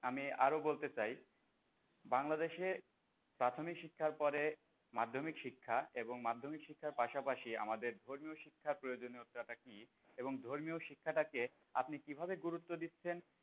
আমি আরো বলতে চাই বাংলাদেশে প্রাথমিক শিক্ষার পরে মাধ্যমিক শিক্ষা এবং মাধ্যমিক শিক্ষার পাশাপাশি আমাদের ধর্মীয় শিক্ষার প্রয়োজনীয়তা কি? এবং ধর্মীয় শিক্ষাটাকে আপনি কি ভাবে গুরুত্ব দিচ্ছেন?